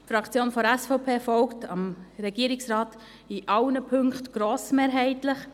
Die Fraktion der SVP folgt dem Regierungsrat in allen Punkten grossmehrheitlich.